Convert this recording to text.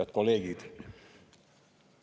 Head kolleegid!